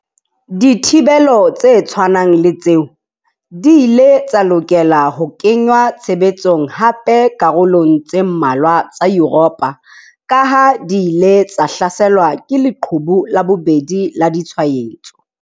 Dithibelo tse tshwanang le tseo di ile tsa lokela ho kenngwa tshebetsong hape dikarolong tse mmalwa tsa Yuropa kaha di ile tsa hlaselwa ke 'leqhubu la bobedi' la ditshwaetso.